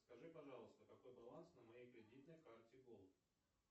скажи пожалуйста какой баланс на моей кредитной карте голд